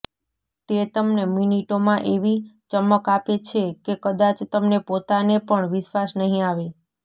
તે તમને મિનિટોમાં એવી ચમક આપે છે કે કદાચ તમને પોતાને પણ વિશ્વાસ નહીં આવે